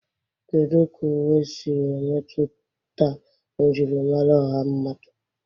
Kedu ka uwe siri emetụta njirimara ọha mmadụ?